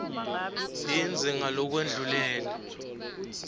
yindze yimfisha ngalokwendlulele